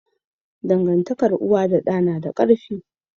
Dangantakar uwa da da nada karfi